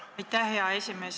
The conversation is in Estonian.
Aitäh, hea esimees!